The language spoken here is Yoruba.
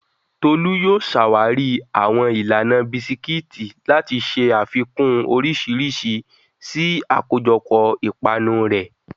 Tolu yóò ṣàwárí àwọn ìlànà bisikíìtì láti ṣe àfikún oríṣiríṣi sí àkójọpọ̀ ìpanu rẹ̀.